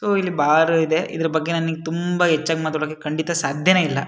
so ಇಲ್ಲಿ bar ಇದೆ ಇದ್ರ ಬಗ್ಗೆ ತುಂಬ ಹೆಚ್ಚಾಗಿ ಮಾತಾಡೋಕೆ ಖಂಡಿತ ಸಾಧ್ಯ ಇಲ್ಲ --